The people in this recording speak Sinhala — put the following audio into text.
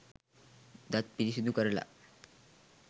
දත් පිරිසිදු කරල